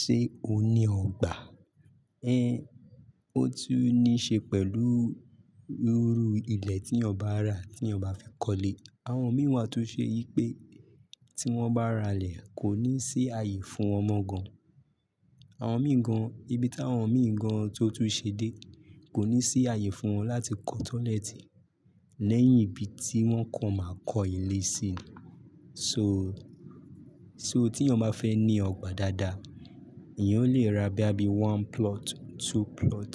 Ṣé o ní ọgbà? Ẹ́n, ó tu ní ṣe pẹ̀lú rúru ilẹ̀ tí yan ba rà ti yan ba fe kọ́lé. Àwọn mí wà to ṣe yí pé tí wọ́n bá ràlé, kò ní sí ààyè fún won mọ gan. Àwọn mi gan, ibi tí àwọn mi gan tó tún ṣe dé, kò ní sí ààyè fún wọn láti kọ́ tọ́lẹ́tì lẹ́yìn ibi tí wọ́n kàn máa kọ́ ilé sí. So, só tí ẹniyan bá fẹ́ ní ọgbà dáadáa, èèyàn lè ra bóyá bí one plot, two plot.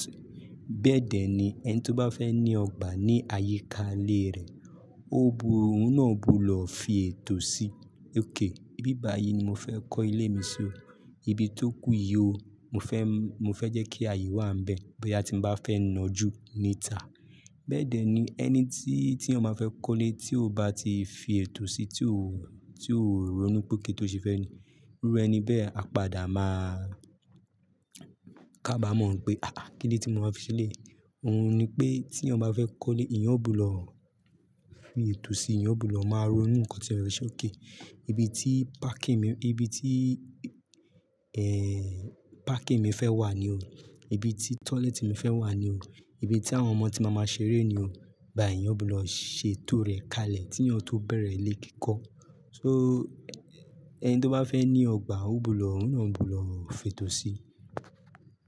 Bẹ́ẹ̀dẹ́ ni, ẹni tó bá fẹ́ ní ọgbà ní àyíká ilé rẹ̀, ó bu, òun náà gbodò fi ètò sí. "Ok, ibi báyìí ni mo fẹ́ kọ́ ilé mi sí o. Ibi tó kú yí o. Mo fẹ́, mo fẹ́ jẹ́ kí ààyè wà níbẹ̀ bóyá tí mo bá fẹ́ nọ́jú níta." Bẹ́ẹ̀dẹ́ ni ẹni tí, tí eniyan bá fẹ́ kọ́lé, tí ó bá ti fi ètò sí, tí ó, tí ó ronú pé okay tó ṣe fẹ́ nì. Irú ẹni bẹ́ẹ̀ a padà máa ká bá mọ̀ ń pé "àáàh kílódé tí mo wà fi ṣẹ èlèyí. Òun ni pé tí ẹniyan bá fẹ́ kọ́lé, eniyan gbodo fi ètò sí, ìyẹn ó gbodo máa ronú nǹkan tí eyan fè ṣe. "Okay, ibi tí parking mi, ibi tí, ẹ́ n, parking mi fẹ́ wà ní o. Ibi tí tọ́lẹ́tì mi fẹ́ wà ní o. Ibi tí àwọn ọmọ tí màá máa ṣeré ni o." Báyìí eniyan gbodo ṣètò rẹ̀ kalẹ̀ kí eniyan tó bẹ̀rẹ̀ ilé kí kọ́. So, ẹni tó bá fẹ́ ní ògbà, ó gbodo, òun náà gbodo fi ètò sí.